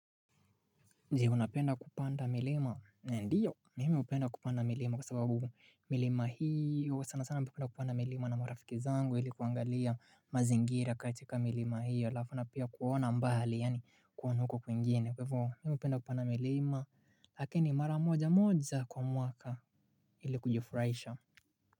Je unapenda kupanda milima ndiyo mimi upenda kupanda milima kwa sababu milima hiyo sana sana mpenda kupanda milima na marafiki zangu hili kuangalia mazingira katika milima hiyo lafu na pia kuona mbali yani kuonuko kwingine kwevo mimi upenda kupanda milima lakini mara moja moja kwa mwaka hili kujufurasha.